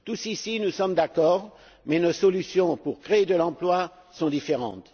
Tous ici nous sommes d'accord, mais nos solutions pour créer de l'emploi sont différentes.